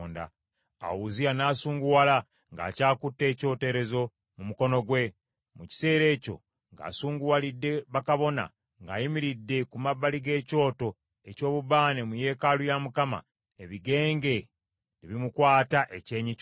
Awo Uzziya n’asunguwala ng’akyakutte ekyoterezo mu mukono gwe. Mu kiseera ekyo ng’asunguwalidde bakabona ng’ayimiridde ku mabbali g’ekyoto eky’obubaane mu yeekaalu ya Mukama , ebigenge ne bimukwata ekyenyi kyonna.